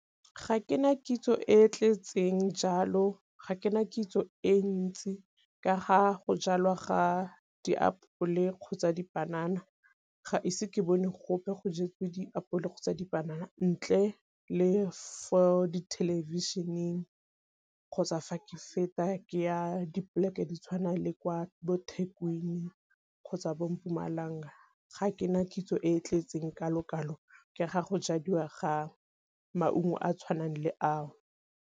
Ga ke na kitso e tletseng jalo ga ke na kitso e ntsi ka ga go jalwa ga diapole kgotsa dipanana ga ise ke bone gope go jetsweng diapole kgotsa dipanana, ntle le for di thelebišeneng kgotsa fa ke feta ke ya dipoleke di tshwana le kwa bo Thekwini kgotsa bo Mpumalanga. Ga ke na kitso e e tletseng ka ke ga go jadiwa ga maungo a a tshwanang le a o.